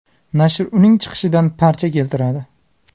Nashr uning chiqishidan parcha keltiradi.